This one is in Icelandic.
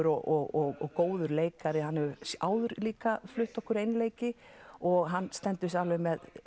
og góður leikari hann hefur áður líka flutt okkur einleiki og hann stendur sig alveg með